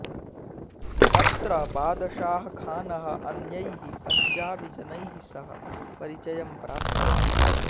तत्र बादशाह खानः अन्यैः पञ्जाबिजनैः सह परिचयं प्राप्तवान्